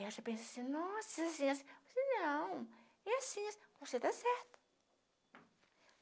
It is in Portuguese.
E elas pensam assim, nossa, você não é assim, você tá certa.